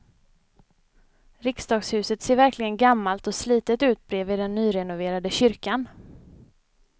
Riksdagshuset ser verkligen gammalt och slitet ut bredvid den nyrenoverade kyrkan.